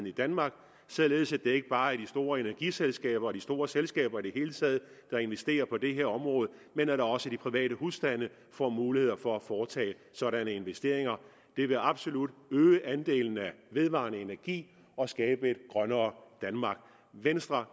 i danmark så det ikke bare er de store energiselskaber og de store selskaber i det hele taget der investerer på det her område men at også de private husstande får mulighed for at foretage sådanne investeringer det vil absolut øge andelen af vedvarende energi og skabe et grønnere danmark venstre